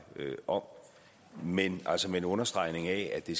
om men altså med en understregning af at det